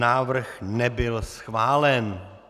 Návrh nebyl schválen.